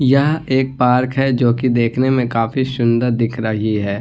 यह एक पार्क है जोकि देखने में काफी सुन्दर दिख रही है |